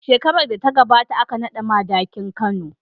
Shekarar da ta gabata aka naɗa Madakin Kano.